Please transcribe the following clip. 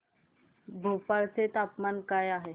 भोपाळ चे तापमान काय आहे